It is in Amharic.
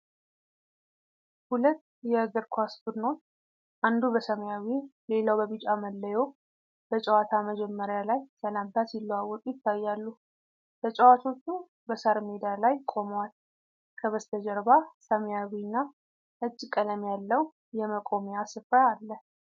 ሁለት የ የእግር ኳስ ቡድኖች፣ አንዱ በሰማያዊ ሌላው በቢጫ መለዮ፣ በጨዋታ መጀመሪያ ላይ ሰላምታ ሲለዋወጡ ይታያሉ። ተጫዋቾቹ በሣር ሜዳ ላይ ቆመዋል። ከበስተጀርባ ሰማያዊና ነጭ ቀለም ያለው የመቆሚያ ስፍራ አለ።